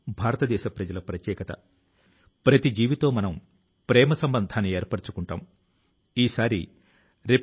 ఆయన సంస్కృతంసెర్బియన్ ద్విభాషా నిఘంటువు ను రూపొందించారు